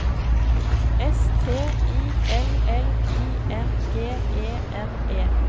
S T I L L I N G E N E